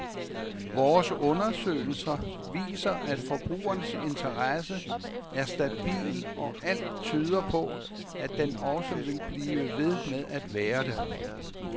Vores undersøgelser viser, at forbrugernes interesse er stabil og alt tyder på, at den også vil blive ved med at være det.